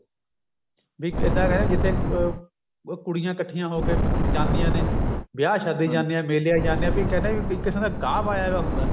ਵੀ ਇੱਦਾਂ ਕਹਿੰਦੇ ਜਿੱਥੇ ਅਹ ਉਹ ਕੁੜੀਆਂ ਇੱਕਠੀਆਂ ਹੋ ਕੇ ਜਾਂਦੀਆਂ ਨੇ ਵਿਆਹ ਸ਼ਾਦੀਆਂ ਚ ਜਾਂਦੀਆਂ ਮੇਲਿਆਂ ਚ ਜਾਂਦੀਆਂ ਵੀ ਕਹਿਨੇ ਵੀ ਇੱਕ ਥਾਂ ਤੇ ਗਾਹ ਪਾਇਆ ਹੁੰਦਾ